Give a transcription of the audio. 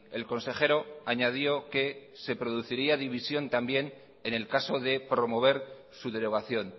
el consejero añadió que se produciría división también en el caso de promover su derogación